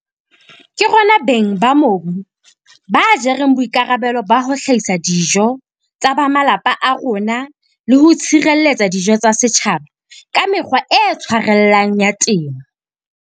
Ke rona beng ba mobu ba jereng boikarabelo ba ho hlahisa dijo tsa ba malapa a rona le ho tshireletsa dijo tsa setjhaba ka mekgwa e tshwarellang ya temo.